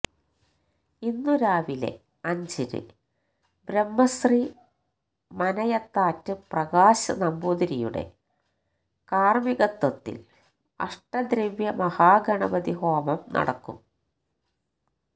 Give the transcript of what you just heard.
ഇന്നു രാവിലെ അഞ്ചിന് ബ്രഹ്മശ്രീ മനയത്താറ്റ് പ്രകാശ് നമ്പൂതിരിയുടെ കാര്മികത്വത്തില് അഷ്ടദ്രവ്യ മഹാഗണപതിഹോമം നടക്കും